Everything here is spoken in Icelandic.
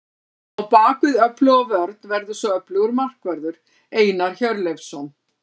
Á bakvið öfluga vörn verður svo öflugur markvörður, Einar Hjörleifsson.